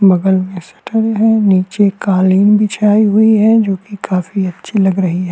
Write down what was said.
बगल में सेटल्ड हैं नीचे कालीन बिछाई हुई है जो कि काफी अच्छी लग रही है।